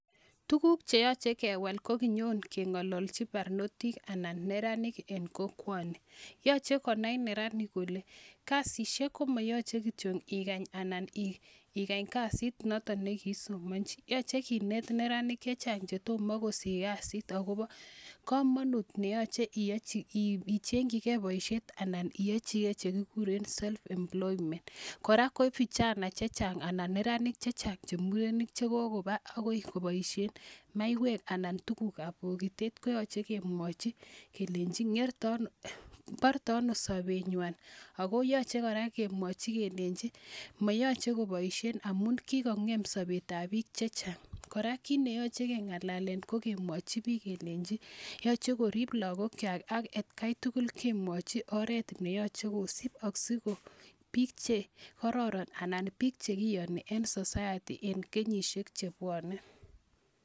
Tuguuk che yache kewal ko kinyon keng'alalchi parnotik anan neranik en kokwani. Yache konai neranik kole kasishek ko ma yache kityo ikany kasit notok ne ki isomanchi. Yache kinet neranik che chang' che toma kosich kasit akopa kamanut ne yache icheng' chigei poishet anan iyachi ke che kikuren self employment Kora ko vijana che chang' anan neranik che chang' che murenik che kokopa akoi kopaishe maiywek anan tuguk ap pokitet koyache kemwachi kelenchi porton ano sapennywa ako yache kora kemwachi kelenchi mayache kopaishe amun kikong' sapet ap piik che chang'. Kora Kiit ne yache keng'alalen ko kemwachi piik kelenchi yache korip lagokwak ak atian tugul kemwachi oret ne yache kosip asiko piik che kararan anan piik che kiyani eng' society en kenyishek che pwane.